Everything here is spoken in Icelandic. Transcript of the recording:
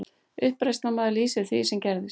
Uppreisnarmaður lýsir því sem gerðist